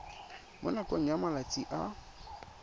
mo nakong ya malatsi a